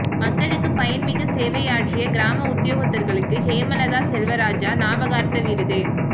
மக்களுக்கு பயன்மிகு சேவையாற்றிய கிராம உத்தியோகத்தர்களுக்கு ஹேமலதா செல்வராஜா ஞாபகார்த்த விருது